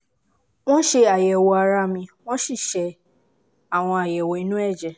wọ́n ṣe àyẹ̀wò ara mi wọ́n sì ṣe àwọn àyẹ̀wò inú ẹ̀jẹ̀